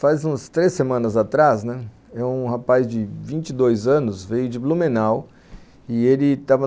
Faz uns três semanas atrás, né, um rapaz de vinte e dois anos veio de Blumenau e ele estava...